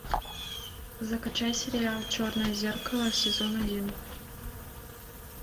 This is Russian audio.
закачай сериал черное зеркало сезон один